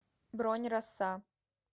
бронь роса